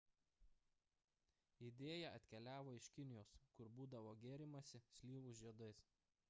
idėja atkeliavo iš kinijos kur būdavo gėrimasi slyvų žiedais